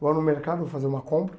Vou no mercado fazer uma compra.